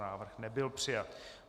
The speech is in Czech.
Návrh nebyl přijat.